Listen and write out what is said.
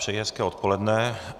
Přeji hezké odpoledne.